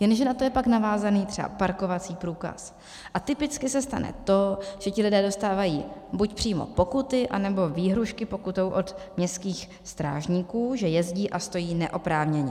Jenže na to je pak navázaný třeba parkovací průkaz a typicky se stane to, že ti lidé dostávají buď přímo pokuty, anebo výhrůžky pokutou od městských strážníků, že jezdí a stojí neoprávněně.